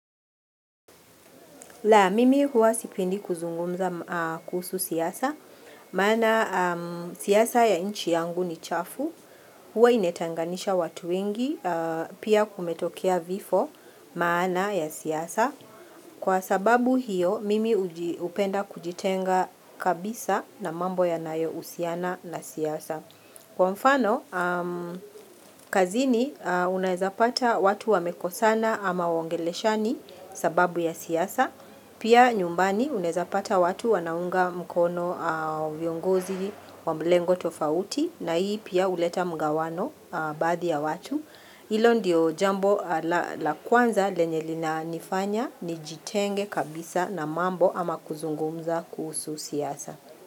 La, mimi huwa sipendi kuzungumza kuhusu siasa, maana siasa ya nchi yangu ni chafu, huwa inatenganisha watu wengi, pia kumetokia vifo maana ya siasa. Kwa sababu hiyo, mimi hupenda kujitenga kabisa na mambo yanayo uhusiana na siasa. Kwa mfano, kazini unaezapata watu wamekosana ama waongeleshani sababu ya siasa. Pia nyumbani uneazapata watu wanaunga mkono viongozi wamlengo tofauti na hii pia huleta mgawano baadhi ya watu. Hilo ndiyo jambo la kwanza lenye linanifanya nijitenge kabisa na mambo ama kuzungumza kuhusu siasa.